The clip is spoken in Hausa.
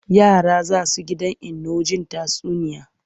Yara za su he gidan Inno jin tatsuniya.